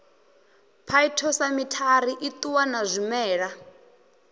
phytosamitary i ṱuwa na zwimela